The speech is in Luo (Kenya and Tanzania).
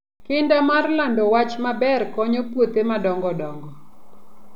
Kinda mar lando wach maber konyo puothe madongo dongo.